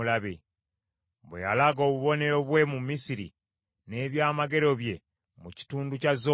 bwe yalaga obubonero bwe mu Misiri, n’ebyamagero bye mu kitundu kya Zowani,